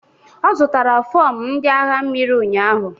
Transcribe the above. Ọ zụtara fọm ndị agha mmiri ụnyahụ.